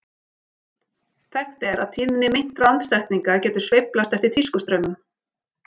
Þekkt er að tíðni meintra andsetninga getur sveiflast eftir tískustraumum.